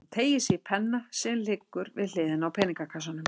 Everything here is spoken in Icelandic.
Hún teygir sig í penna sem liggur við hliðina á peningakassanum.